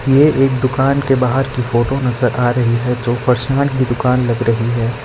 ये एक दुकान के बाहर की फोटो नजर आ रही है जो पर्सनल की दुकान लग रही है।